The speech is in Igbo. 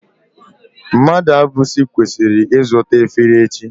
Mmadụabụchi kwesiri izuta efere echi